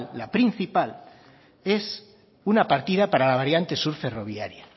la principal es una partida para la variante sur ferroviaria